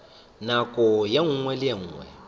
nako ye nngwe le ye